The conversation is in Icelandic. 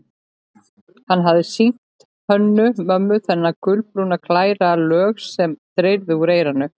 Hann hafði sýnt Hönnu-Mömmu þennan gulbrúna, glæra lög sem dreyrði úr eyranu.